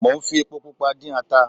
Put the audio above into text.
Mo ń fi epo pupa dín ata